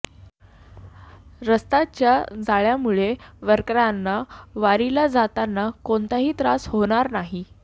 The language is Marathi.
रस्त्याच्या जाळ्यामुळे वारकऱ्यांना वारीला जाताना कोणताही त्रास होणार नाही